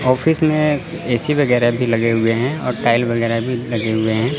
Office में AC वगैरा भी लगे हुए हैं और टाइल वगैरा भी लगे हुए हैं।